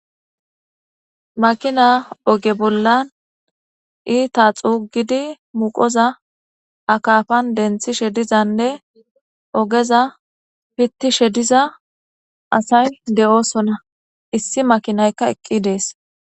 Makina oge bolla ita xugidi muqoza akafan denthishe dizane ogeza fitishe diza asay de'osona issi makinayka eqi des